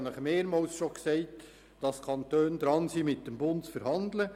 Ich habe Ihnen schon mehrmals gesagt, dass die Kantone dabei sind, mit dem Bund zu verhandeln.